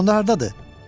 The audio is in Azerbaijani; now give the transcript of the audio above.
Bəs o hardadır?